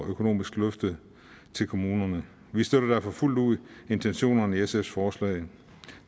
økonomisk løft til kommunerne vi støtter derfor fuldt ud intentionerne i sfs forslag